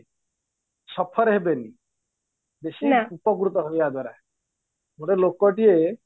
suffer ହେବେନି ବେଶି ଉପକୃତ ହେବେ ୟା ଦ୍ୱାରା ଗୋଟେ ଲୋକ ଟିଏ